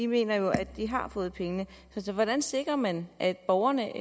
mener jo at de har fået pengene så hvordan sikrer man at borgerne